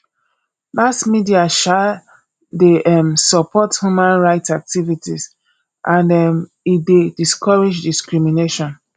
mass media um de um support human right activities and um e de discourage discrimination